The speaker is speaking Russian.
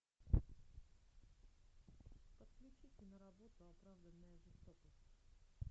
подключи киноработу оправданная жестокость